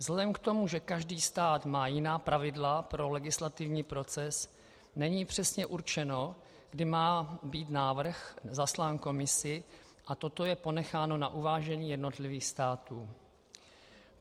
Vzhledem k tomu, že každý stát má jiná pravidla pro legislativní proces, není přesně určeno, kdy má být návrh zaslán Komisi, a toto je ponecháno na uvážení jednotlivých států.